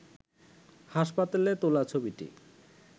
হাসপাতালে তোলা ছবিটি